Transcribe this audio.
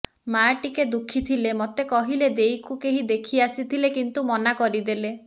ମାଆ ଟିକେ ଦୁଃଖୀ ଥିଲେ ମତେ କହିଲେ ଦେଈକୁ କେହି ଦେଖି ଆସିଥିଲେ କିନ୍ତୁ ମନା କରିଦେଲେ